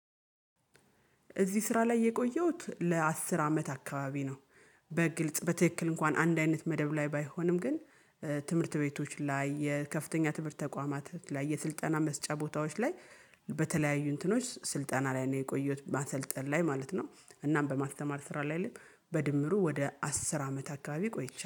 እዚህ ስራ ላይ የቆየሁት ለአስር አመት አካባቢ ነው። በግልጽ በትክክል እንኳን አንድ አይነት መደብ ላይ ባይሆንም ግን። ትምህርት ቤቶች ላይ የከፍተኛ ትምህርት ተቋማት ላይ የስልጠና መስጫ ቦታዎች ላይ በተለያዩ እንትኖች ስልጠና ላይ ነው የቆየሁት ማሰልጠን ላይ ማለት ነው። እናም በማሰማር ስራ ላይ አይደለም። በድምሩ ወደ አስር አመት አካባቢ ቆይቻለሁ